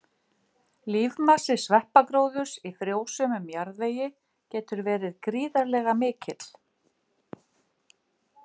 Lífmassi sveppagróðurs í frjósömum jarðvegi getur verið gríðarlega mikill.